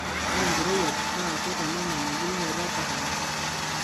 ore enkorowuaj naa keitanyamal embulunoto ekahawa